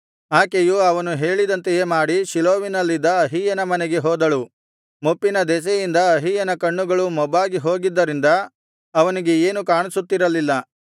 ಆಕೆಯು ಅವನು ಹೇಳಿದಂತೆಯೇ ಮಾಡಿ ಶೀಲೋವಿನಲ್ಲಿದ್ದ ಅಹೀಯನ ಮನೆಗೆ ಹೋದಳು ಮುಪ್ಪಿನ ದೆಸೆಯಿಂದ ಅಹೀಯನ ಕಣ್ಣುಗಳು ಮೊಬ್ಬಾಗಿ ಹೋಗಿದ್ದರಿಂದ ಅವನಿಗೆ ಏನು ಕಾಣಿಸುತ್ತಿರಲಿಲ್ಲ